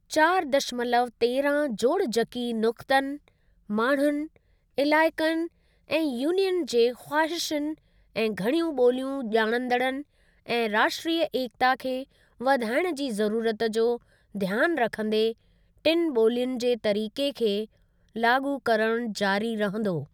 चारि दशमलव तेरहां जोड़जकी नुक्तनि, माण्हुनि, इलाइक़नि ऐं यूनियन जे ख़्वाहिशुनि ऐं घणियूं बोलियूं ॼाणंदड़नि ऐं राष्ट्रीय एकता खे वधाइण जी ज़रूरत जो ध्यान रखंदे टिनि बोलियुनि जे तरीके खे लाॻू करणु जारी रहंदो।